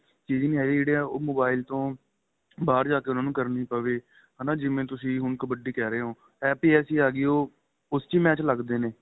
ਚੀਜ ਨਹੀਂ ਹੈਗੀ ਜਿਹੜੀ ਉਹ mobile ਤੋ ਬਹਾਰ ਜਾਕੇ ਉਹਨਾ ਨੂੰ ਕਰਨੀ ਪਵੇ ਹੈਨਾ ਜਿਵੇਂ ਤੁਸੀਂ ਹੁਣ ਕਬੱਡੀ ਕਹਿ ਰਹੇ ਹੋ app ਹੀ ਐਸੀ ਆਂ ਗਈ ਉਹ ਉਸ ਚ match ਲੱਗਦੇ ਨੇ